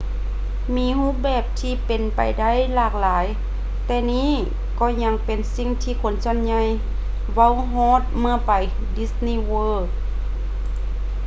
ມີຮູບແບບທີ່ເປັນໄປໄດ້ຫຼາກຫຼາຍແຕ່ນີ້ກໍຍັງເປັນສິ່ງທີ່ຄົນສ່ວນໃຫຍ່ເວົ້າຮອດເມື່ອໄປ disney world